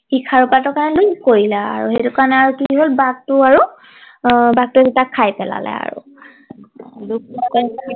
সি খাৰু পাতৰ কাৰণে লোভ কৰিলে আৰু সেইটো কাৰণে কি হল বাঘটো আৰু আহ বাঘ টোৱে তাক খাই পেলালে আৰু